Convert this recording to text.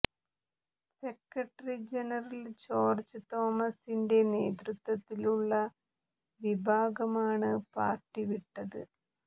secretary general George തോമസിന്റെ നേതൃത്വത്തിലുള്ള വിഭാഗമാണ് പാര്ട്ടി വിട്ടത്